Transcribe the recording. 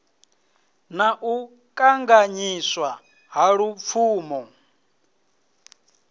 na u kanganyiswa ha lupfumo